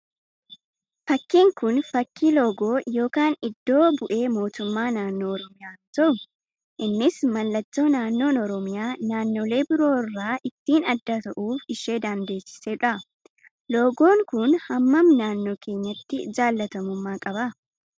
Fakkiin kun, fakkii loogoo yookaan iddo bu'ee mootummaa naannoo Oromiyaa yoo ta'u, innis mallattoo naannoon Oromiyaa naannoolee biroo irraa ittiin adda ta'uuf ishee dandeessisudha. Loogoon kun hammam naannoo keenyatti jaalatamummaa qaba?